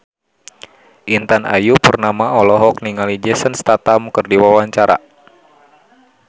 Intan Ayu Purnama olohok ningali Jason Statham keur diwawancara